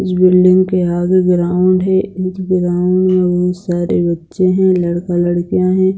इस बिल्डिंग के आगे ग्राउन्ड है इस ग्राउन्ड में बहुत सारे बच्चे हैं लड़का लड़कियां है।